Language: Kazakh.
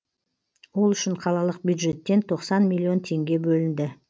ол үшін қалалық бюджеттен тоқсан миллион теңге бөлінді